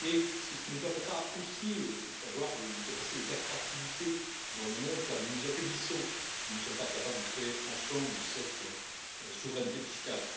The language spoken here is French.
C'est ce qui nous permettra aussi d'avoir une capacité d'attractivité dans le monde, car nous nous affaiblissons si nous ne sommes pas capables de créer ensemble cette souveraineté fiscale.